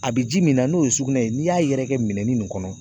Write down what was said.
A bɛ ji min na n'o ye sugunɛ ye n'i y'a yɛrɛkɛ minɛn nin kɔnɔ.